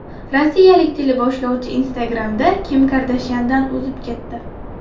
Rossiyalik teleboshlovchi Instagram’da Kim Kardashyandan o‘zib ketdi.